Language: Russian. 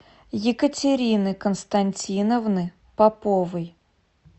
екатерины константиновны поповой